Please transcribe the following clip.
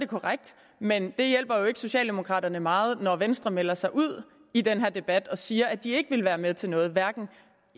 korrekt men det hjælper jo ikke socialdemokraterne meget når venstre melder sig ud i den her debat og siger at de ikke vil være med til noget hverken